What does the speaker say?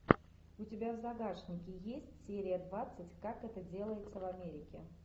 у тебя в загашнике есть серия двадцать как это делается в америке